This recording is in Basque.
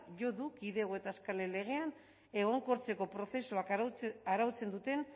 jo du kidego eta eskalen legean egonkortzeko prozesuak arautzen duten